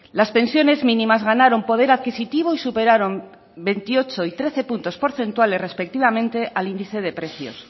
las pensiones mínimas ganaron poder adquisitivo y superaron veintiocho y trece puntos porcentuales respectivamente al índice de precios